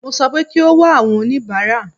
Mo sọ pé kí o wá àwọn oníbàárà.